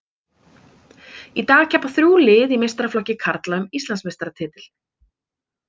Í dag keppa þrjú lið í meistaraflokki karla um Íslandsmeistaratitil.